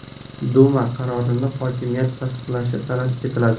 Duma qarorini hokimiyat tasdiqlashi talab etiladi.